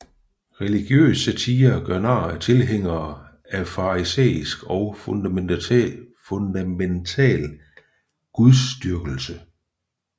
Religiøs satire gør nar af tilhængere af farisæisk og fundamental gudsdyrkelse